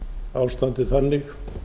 ástandið þannig